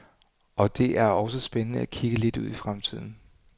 Og det er også spændende at kigge lidt ud i fremtiden.